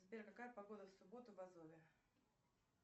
сбер какая погода в субботу в азове